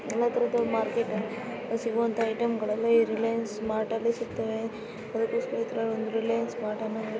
ಎಲ್ಲಾ ತರಹದ ಮಾರ್ಕೆಟ್ ಅಲ್ಲಿ ಸಿಗುವಂತಹ ಐಟಂಗಳಲ್ಲಿ ರಿಲಯನ್ಸ್ ಮಾರ್ಟ್ ನಲ್ಲಿ ಸಿಕ್ತವೆ ।